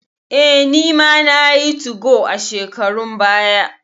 Eh, nima nayi 2go a shekarun baya.